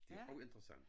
Det også interessant